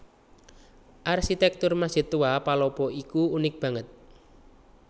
Arsitèktur Masjid Tua Palopo iki unik banget